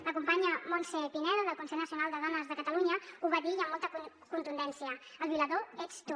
la companya montse pineda del consell nacional de dones de catalunya ho va dir i amb molta contundència el violador ets tu